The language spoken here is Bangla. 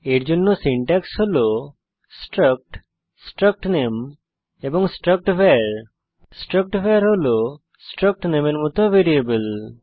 এর জন্য সিনট্যাক্স হল স্ট্রাক্ট স্ট্রাক্ট নামে এবং স্ট্রাক্ট ভার স্ট্রাক্ট ভার হল স্ট্রাক্ট নামে এর মত ভ্যারিয়েবল